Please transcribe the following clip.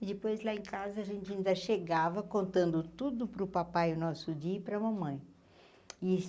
E depois lá em casa a gente ainda chegava contando tudo para o papai, o nosso dia, e para a mamãe.